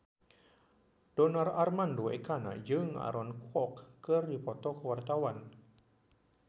Donar Armando Ekana jeung Aaron Kwok keur dipoto ku wartawan